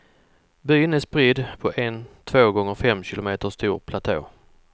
Byn är spridd på en två gånger fem kilometer stor platå.